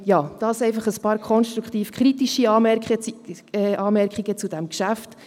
Dies einfach ein paar konstruktiv-kritische Anmerkungen zu diesem Geschäft.